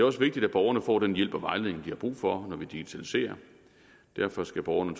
også vigtigt at borgerne får den hjælp og vejledning de har brug for når vi digitaliserer derfor skal borgerne